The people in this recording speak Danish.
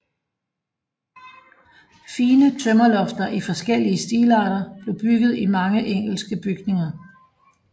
Fine tømmerlofter i forskellige stilarter blev bygget i mange engelske bygninger